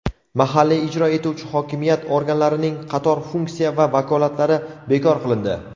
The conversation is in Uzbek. mahalliy ijro etuvchi hokimiyat organlarining qator funksiya va vakolatlari bekor qilindi.